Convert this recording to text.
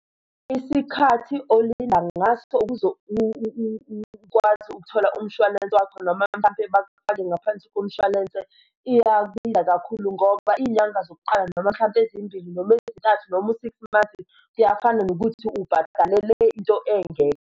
Isikhathi olinda ngaso ukuze ukwazi ukuthola umshwalense wakho noma mhlampe bakufake ngaphansi komshwalense iyabiza kakhulu ngoba iy'nyanga zokuqala noma mhlampe ezimbili noma ezintathu noma u-six months, kuyafana nokuthi ubhadalele into engekho.